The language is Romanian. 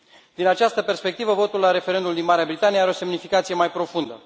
Din această perspectivă votul la referendumul din Marea Britanie are o semnificație mai profundă.